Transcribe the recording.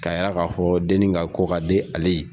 Ka yira ka fɔ denni ka ko ka di ale ye.